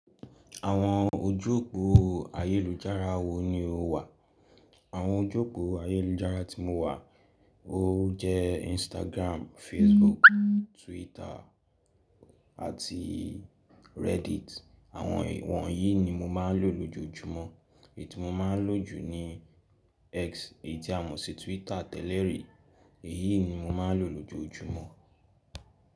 Àwọn ojú òpó ayélujára wo ni o wà? Àwọn ojú òpó ayélujára tí mo wà ó jẹ́ Instagram, Facebook, Twitter àti Reddit. Àwọn wọ̀nyí ni mo máa ń lò lójoojúmọ́. Èyí tí mo máa ń lò jù ni X èyí tí a mọ̀ sí Twitter tẹ́lẹ̀ rí, èyí ni mo máa ń lò lójoojúmọ́.